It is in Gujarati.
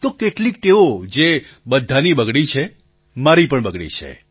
તો કેટલીક ટેવો જે બધાની બગડી છે મારી પણ બગડી છે